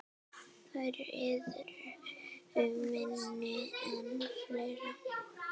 Þær yrðu minni en fleiri.